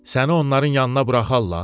Səni onların yanına buraxarlar?